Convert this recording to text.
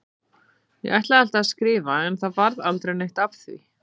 Ég ætlaði alltaf að skrifa en það varð aldrei neitt af því.